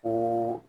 Ko